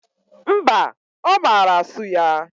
Mba, Omara asu ya